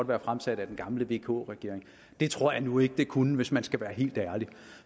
været fremsat af den gamle vk regering det tror jeg nu ikke det kunne hvis man skal være helt ærlig